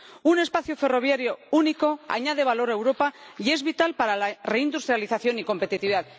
Un espacio ferroviario único añade valor a Europa y es vital para la reindustrialización y competitividad.